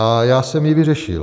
A já jsem ji vyřešil.